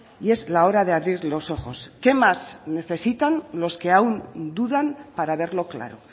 y es la hora de abrir los ojos qué más necesitan los que aún dudan para verlo claro